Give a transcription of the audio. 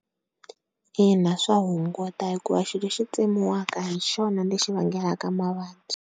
Ina, swa hunguta hikuva xilo lexi tsemiwaka hixona lexi vangelaka mavabyi.